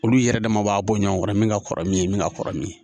Olu yɛrɛ dama b'a bɔ ɲɔgɔn kɔrɔ min ka kɔrɔ min ye min ka kɔrɔ min ye